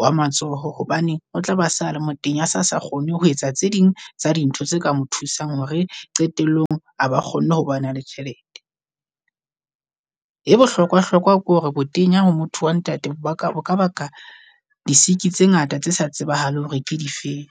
wa matsoho. Hobane o tlaba a sale motenya a se sa kgone ho etsa tse ding tsa di ntho tse ka mo thusang hore qetellong ha ba kgonne ho ba na le tjhelete. E bohlokwa hlokwa ke hore botenya ho motho wa ntate ba ka bo ka ba ka di siki tse ngata tse sa tsebahale hore ke di feng.